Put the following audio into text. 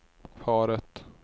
paret